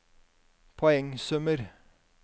poengsummer